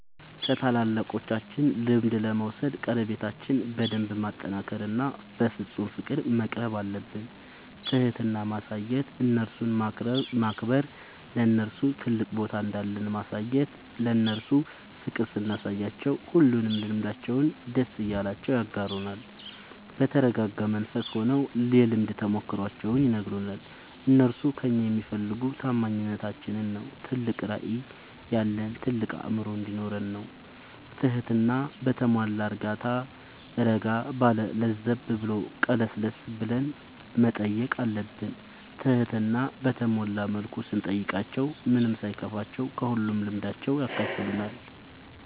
ከታላላቆቻችን ልምድ ለመውሰድ ቀረቤታችን በደንብ ማጠናከር እና በፍፁም ፍቅር መቅረብአለብን። ትህትና ማሳየት እነርሱን ማክበር ለነርሱ ትልቅ ቦታ እንዳለን ማሳየት እነርሱ ፍቅር ስናሳያቸው ሁሉንም ልምዳቸውን ደስ እያላቸው ያጋሩናል። በተረጋጋ መንፈስ ሆነው የልምድ ተሞክሯቸውን ይነግሩናል። እነርሱ ከእኛ የሚፈልጉ ታማኝነታችን ነው ትልቅ ራዕይ ያለን ታልቅ አእምሮ እንዲኖረን ነው ትህትና በተሟላ እረጋ ባለ ለዘብ ብሎ ቀለስለስ ብለን መጠየቅ አለብን ትህትና በተሞላ መልኩ ስንጠይቃቸው ምንም ሳይከፋቸው ከሁሉም ልምዳቸው ያካፍሉናል።